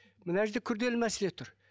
мына жерде күрделі мәселе тұр